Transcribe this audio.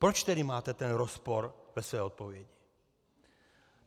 Proč tedy máte ten rozpor ve své odpovědi?